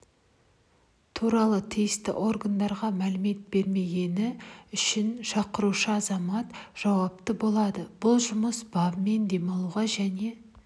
туралы тиісті органдарға мәлімет бермегені үшін шақырушы азамат жауапты болады бұл жұмыс бабымен демалуға және